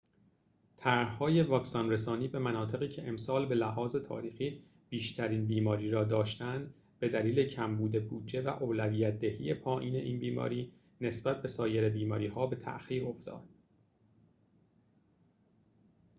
طرح‌های واکسن‌رسانی به مناطقی که امسال به‌لحاظ تاریخی بیشترین بیماری را داشته‌اند به دلیل کمبود بودجه و اولویت‌دهی پایین این بیماری نسبت به سایر بیماری‌ها به تأخیر افتاد